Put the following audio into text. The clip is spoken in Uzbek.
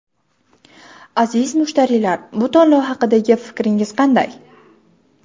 Aziz mushtariylar, bu tanlov haqidagi fikringiz qanday?